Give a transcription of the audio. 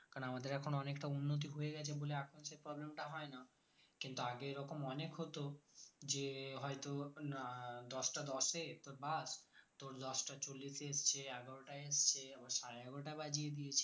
কারণ এখন আমাদের অনেকটা উন্নতি হয়ে গেছে বলে এখন যে problem তা হয় না কিন্তু আগে এরকম অনেক হতো যে হয় তো না দশ টা দশ এ তোর bus দশ টা চল্লিশ এ এসেছে এগারো টাই এসেছে আবার সাড়ে এগারোটা বাজিয়ে দিয়েছে